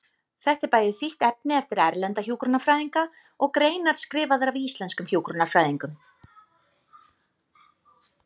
Þetta er bæði þýtt efni eftir erlenda hjúkrunarfræðinga og greinar skrifaðar af íslenskum hjúkrunarfræðingum.